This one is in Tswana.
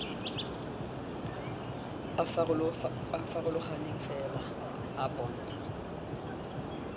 a farologaneng fela a bontsha